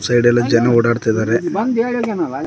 ಹಿಂದೆಗಡೆ ಎಲ್ಲಾ ಜನ ಓಡಾಡ್ತೀದರೆ.